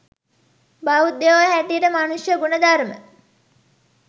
බෞද්ධයෝ හැටියට මනුෂ්‍ය ගුණධර්ම